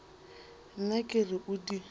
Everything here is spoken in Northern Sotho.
nna ke re o di